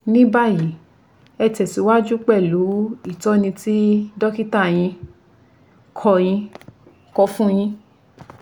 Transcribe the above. Ní báyìí ẹ tẹ̀síwájú pẹ̀lú ìtọ́jú tí dọ́kítà yín kọ yín kọ fun yín